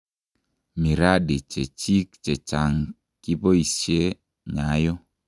Miradi chechik che chang kiboishe "nyayo"